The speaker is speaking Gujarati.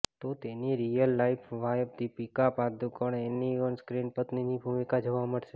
તો તેની real life wife Deepika Padukone તેની ઓનસ્ક્રીન પત્નીની ભૂમિકામાં જોવા મળશે